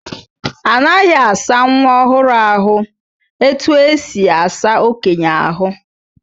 Anaghị asa nwa ọhụrụ ahụ etu esi asa okenye ahụ.